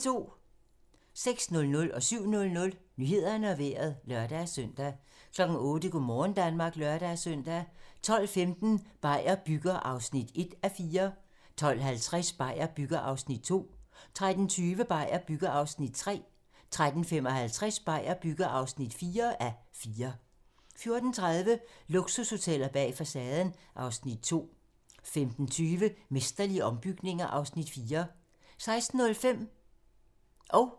06:00: Nyhederne og Vejret (lør-søn) 07:00: Nyhederne og Vejret (lør-søn) 08:00: Go' morgen Danmark (lør-søn) 12:15: Beier bygger (1:4) 12:50: Beier bygger (2:4) 13:20: Beier bygger (3:4) 13:55: Beier bygger (4:4) 14:30: Luksushoteller bag facaden (Afs. 2) 15:25: Mesterlige ombygninger (Afs. 4) 16:05: Hvem vil være millionær?